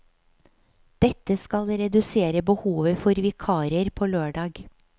Dette skal redusere behovet for vikarer på lørdag.